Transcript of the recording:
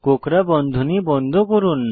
কোঁকড়া বন্ধনী বন্ধ করুন